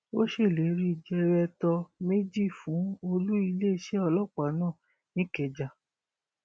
ó ṣèlérí jẹrẹtọ méjì fún olú iléeṣẹ ọlọpàá náà nìkẹjà